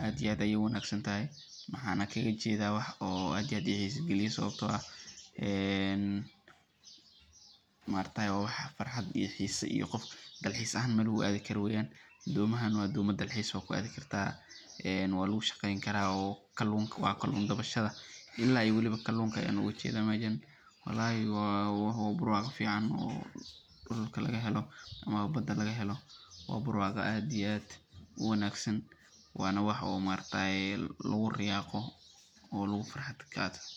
aad iyo aad ayeey uwanagsan tahay mxaana kaga jeeda wax oo aad iyo aad ii xiisa galiyo sababta oo ah maaragtaye waa wax farxad iyo xiisa iyo meelaha dalxiiska lagu aadi karo weeyan, doomaha waa doma dalxiis waa ku aadi kartaa, waa lagu shaqeyn karaa oo kaluunka kakun dabashada ilaa aay waliba kaluunka ayaan ooga jeeda meeshan, walahi waa barwaqo fican oo dulka laga helo ama bada laga helo waa barwaqa aad iyo aad uwanagsan, waana wax oo maaragtaye lagu riyaaqo oo lagu farxo.